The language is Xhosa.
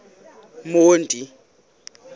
monti